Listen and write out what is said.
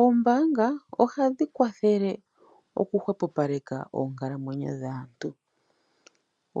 Ombaanga ohadhi kwathele oku hwehopaleka oonkalamwenyo dhaantu.